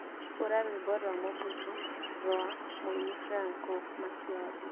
hura rwĩmbo rwa Mobutu rũa mũini Franco Makiadi